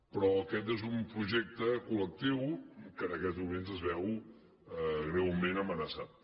però aquest és un projecte col·lectiu i en aquests moments es veu greument amenaçat